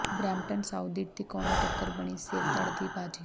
Brampton South ਦੀ ਤਿਕੋਨੀ ਟੱਕਰ ਬਣੀ ਸਿਰ ਧੜ੍ਹ ਦੀ ਬਾਜ਼ੀ